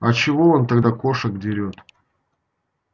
а чего он тогда кошек дерёт